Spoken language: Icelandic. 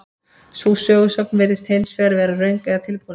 Sú sögusögn virðist hins vegar vera röng eða tilbúningur.